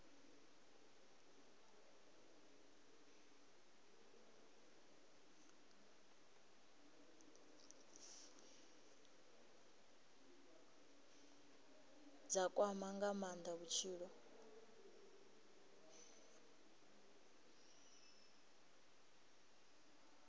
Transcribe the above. dza kwama nga maanda vhutshilo